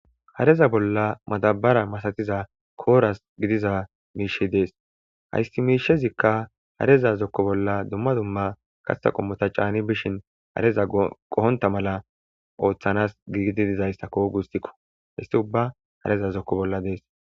hareza bolla matabara masatiza kooras gidiza miishe dees haysti miishezikka hareza zokko bolla dumma dumma katsa qommota caani bishin hareza qohonta mala ooththanas giidi dizayssakko gustikko histi ubba hareza zokko bolla dees